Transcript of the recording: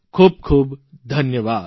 ખૂબખૂબ ધન્યવાદ